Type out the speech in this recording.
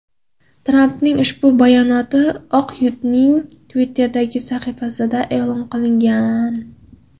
Trampning ushbu bayonoti Oq uyning Twitter’dagi sahifasida e’lon qilingan .